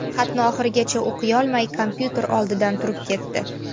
Xatni oxirigacha o‘qiyolmay kompyuter olidan turib ketdi.